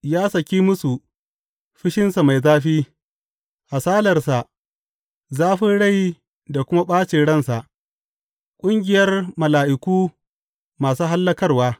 Ya saki musu fushinsa mai zafi, hasalarsa, zafin rai da kuma ɓacin ransa, ƙungiyar mala’iku masu hallakarwa.